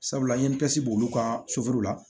Sabula n ye n disi b'olu ka sofula